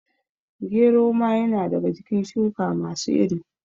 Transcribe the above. Gero ma ya na daga cikin shuka masu iri